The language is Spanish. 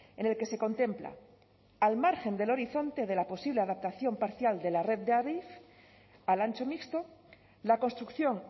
en el que se contempla al margen del horizonte de la posible adaptación parcial de la red de adif al ancho mixto la construcción